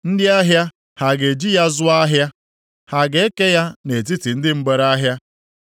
Ndị ahịa ha ga-eji ya zụọ ahịa? Ha ga-eke ya nʼetiti ndị mgbereahịa?